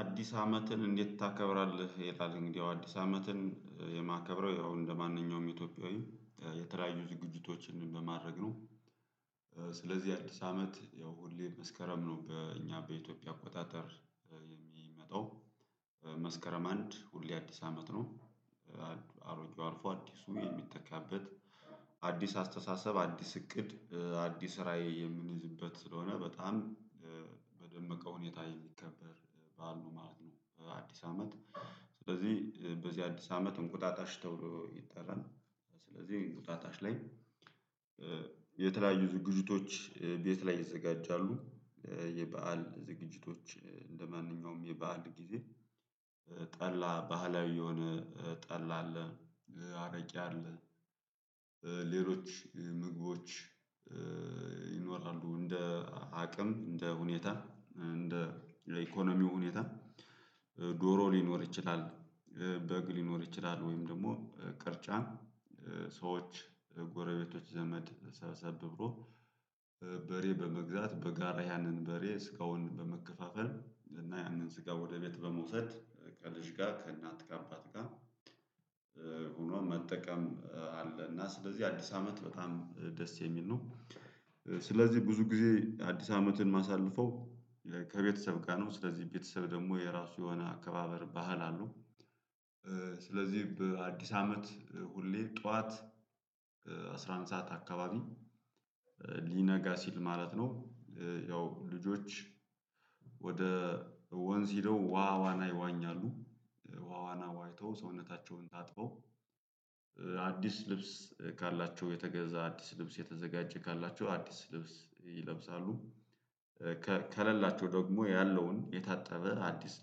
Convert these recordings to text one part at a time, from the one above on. አዲስ አመትን እንዴት ታከብራለህ? እንግዲህ ያው አዲስ አመትን የማከብረው ያው እንደማንኛውም ኢትዮጵያዊ የተለያዩ ዝግጅቶችን በማድረግ ነው። ስለዚህ አዲስ አመት ያው ሁሌ መስከረም ነው በእኛ በኢትዮጵያ አቆጣጠር የሚመጣው መስከረም አንድ ሁሌ አዲስ አመት ነው። አሮጌው አርፎ አዲሱ የሚተካበት አዲስ አስተሳሰብ አዲስ እቅድ አዲስ ራዕይ የምንይዝበት ስለሆነ በጣም። በደመቀ ሁኔታ የሚከበር በዓሉ ማለት ነው በአዲስ አመት በዚህ በዚህ አዲስ አመት እንቁጣጣሽ ተብሎ ይጠራል። ስለዚህ እንቁጣጣሽ ላይ የተለያዩ ዝግጅቶች ቤት ላይ ይዘጋጃሉ። የበአል ዝግጅቶች እንደማንኛውም የበአል ጊዜ። ጠላ ባህላዊ የሆነ ጠላ አለ። አረቄ አለ። ሌሎች ምግቦች ይኖራሉ እንደ አቅም እንደ ሁኔታ እንደ የኢኮኖሚው ሁኔታ። ዶሮ ሊኖር ይችላል በግ ሊኖር ይችላል። ወይም ደግሞ ቅርጫ። ሰዎች ጎረቤቶች ዘመድ ሰብሰብ ብሎ። በሬ በመግዛት በጋራ ያንን በሬ ስጋውን በመከፋፈል እና ያንን ስጋ ወደ ቤት በመውሰድ ከልጅ ጋር ከእናት ጋር በአባት ጋር። ሆኖ መጠቀም አለ እና ስለዚህ አዲስ አመት በጣም ደስ የሚል ነው። ስለዚህ ብዙ ጊዜ አዲስ አመትን ማሳልፈው ከቤተሰብ ጋር ነው ስለዚህ ቤተሰብ ደግሞ የራሱ የሆነ አከባበር ባህል አለው። ስለዚህ በአዲስ አመት ሁሌ ጠዋት አስራ አንድ ሰዓት አካባቢ ሊነጋ ሲል ማለት ነው። ያው ልጆች ወደ ወንዝ ሄደው ውሃ ዋና ይዋኛሉ። ውሃ ዋና ዋኝተው ሰውነታቸውን ታጥበው። አዲስ ልብስ ካላቸው የተገዛ አዲስ ልብስ የተዘጋጀ ካላቸው አዲስ ልብስ ይለብሳሉ። ከሌላቸው ደግሞ ያለውን የታጠበ አዲስ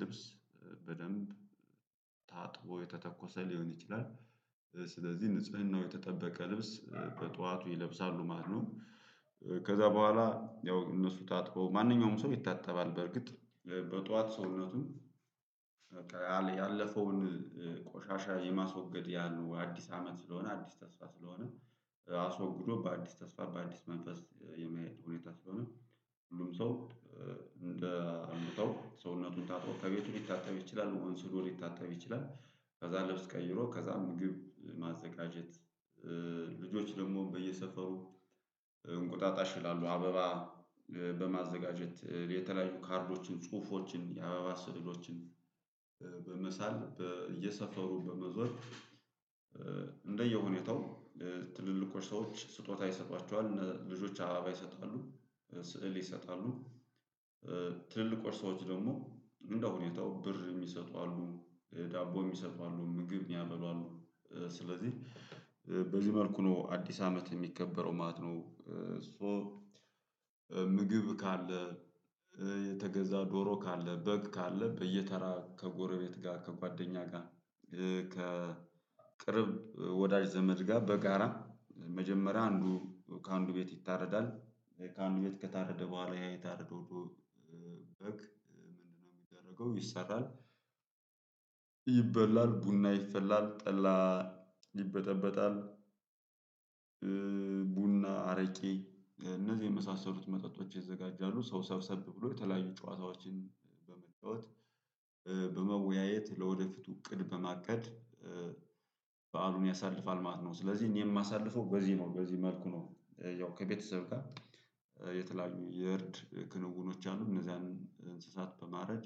ልብስ በደንብ ታጥቦ የተተኮሰ ሊሆን ይችላል። ስለዚህ ንጽህናው የተጠበቀ ልብስ በጧቱ ይለብሳሉ ማለት ነው። ከዛ በኋላ ያው እነሱ ታጥበው ማንኛውም ሰው ይታጠባል በእርግጥ በጧት ሰውነቱም በቃ ያለፈውን ቆሻሻ የማስወገድ ያህል ነው አዲስ አመት ስለሆነ አዲስ ተስፋ ስለሆነ። አስወግዶ በአዲስ ተስፋ በአዲስ መንፈስ የመሄድ ሁኔታ ስለሆነ። ሁሉም ሰው እንደ አመተው ሰውነቱን ታጥቦ ከቤቱ ሊታጠብ ይችላል መሆን ስሉ ሊታተብ ይችላል። ከዛ ልብስ ቀይሮ ከዛ ምግብ ማዘጋጀት። ልጆች ደግሞ በየሰፈሩ እንቁጣጣሽ ይላሉ አበባ በማዘጋጀት የተለያዩ ካርዶችን ጽሁፎችን የአበባ ስዕሎችን በመሳል በየሰፈሩ በመዞር። እንደየሁኔታው ትልልቆች ሰዎች ስጦታ ይሰጧቸዋል ልጆች አባባ ይሰጣሉ ስዕል ይሰጣሉ። ትልልቆቹ ሰዎች ደግሞ እንደ ሁኔታው ብር የሚሰጡ አሉ ዳቦ የሚሰጡ አሉ ምግብ ሚያበሉ አሉ። ስለዚህ በዚህ መልኩ ነው አዲስ አመት የሚከበረው ማለት ነው። ሶ ምግብ ካለ የተገዛ ዶሮ ካለ በግ ካለ በየተራ ከጎረቤት ጋር ከጓደኛ ጋር። ከቅርብ ወዳጅ ዘመድ ጋር በጋራ መጀመሪያ አንዱ ከአንዱ ቤት ይታረዳል። ከአንዱ ቤት ከታረደ በኋላ ያ የታረደው ዶሮ በግ ምንድነው? የሚደረገው ይሰራል። ይበላል ቡና ይፈላል ጠላ ይበጠበጣል። ቡና አረቄ እነዚህ የመሳሰሉት መጠጦች ይዘጋጃሉ ሰው ሰብሰብ ብሎ የተለያዩ ጨዋታዎችን በመጫወት። በመወያየት ለወደፊቱ እቅድ በማቀድ በዓሉን ያሳልፋል ማለት ነው። ስለዚህ እኔ የማሳልፈው በዚህ ነው በዚህ መልኩ ነው ያው ከቤተሰብ ጋር። የተለያዩ የእርድ ክንውኖች አሉ እነዚያን እንስሳት በማረድ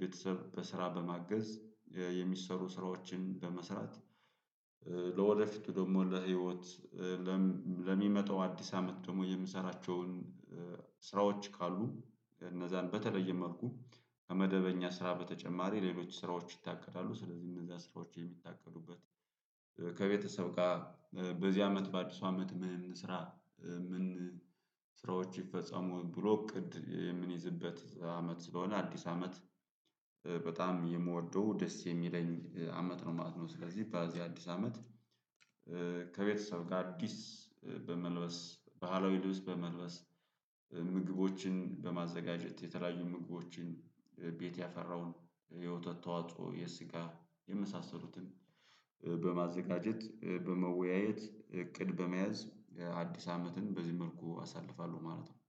ቤተሰብ በስራ በማገዝ የሚሰሩ ስራዎችን በመስራት። ለወደፊቱ ደግሞ ለህይወት ለሚመጣው አዲስ አመት ደግሞ የምሰራቸውን ስራዎች ካሉ። እነዛን በተለየ መልኩ ከመደበኛ ስራ በተጨማሪ ሌሎች ስራዎች ይታቀዳሉ። ስለዚህ እነዛ ስራዎች የሚታቀዱበት ከቤተሰብ ጋር በዚህ አመት በአዲሱ አመት ምን እንስራ? ምን? ስራዎች ይፈጸሙ ብሎ እቅድ የምንይዝበት አመት ስለሆነ አዲስ አመት። በጣም የምወደው ደስ የሚለኝ አመት ነው ማለት ነው ስለዚህ በዚህ አዲስ አመት። ከቤተሰብ ጋር አዲስ በመልበስ ባህላዊ ልብስ በመልበስ። ምግቦችን በማዘጋጀት የተለያዩ ምግቦችን ቤት ያፈራውን የወተት ተዋጽኦ የስጋ የመሳሰሉትን በማዘጋጀት በመወያየት እቅድ በመያዝ። አዲስ አመትን በዚህ መልኩ አሳልፋለሁ ማለት ነው።